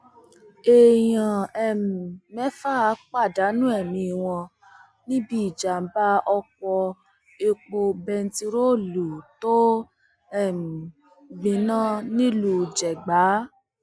èèyàn um mẹfà pàdánù ẹmí wọn níbi ìjàmbá ọkọ epo bẹntiróòlù tó um gbiná nílùú jegba